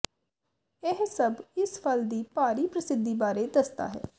ਇਹ ਸਭ ਇਸ ਫਲ ਦੀ ਭਾਰੀ ਪ੍ਰਸਿੱਧੀ ਬਾਰੇ ਦੱਸਦਾ ਹੈ